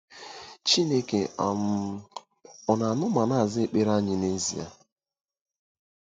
Chineke um ọ̀ na-anụ ma na-aza ekpere anyị n'ezie?